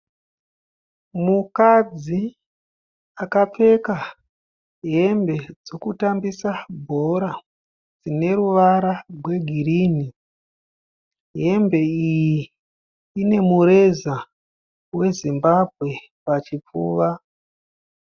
Mukadzi akapfeka hembe dzekutambisa bhora dzine ruvara rwegirini. Hembe iyi ine mureza weZimbabwe pachipfuwa.